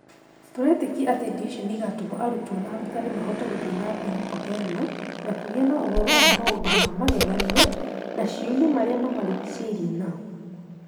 Tũretĩkia atĩ indo icio nĩ igaatũma arutwo na arutani mahote gũthiĩ na mbere kũheana na kũgĩa na ũhoro wa maũndũ ma magegania na ciũria marĩa mamarigicĩirie nao.